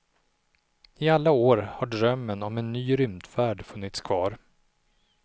I alla år har drömmen om en ny rymdfärd funnits kvar.